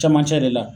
Camancɛ de la